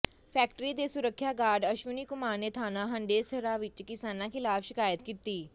factory ਦੇ ਸੁਰੱਖਿਆ guard Ashwani Kumar ਨੇ ਥਾਣਾ ਹੰਡੇਸਰਾ ਵਿੱਚ ਕਿਸਾਨਾਂ ਖ਼ਿਲਾਫ਼ ਸ਼ਿਕਾਇਤ ਕੀਤੀ